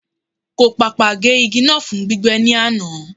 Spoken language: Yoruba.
Kò pàpà gé igi náà fún gbígbẹ́ ní àná.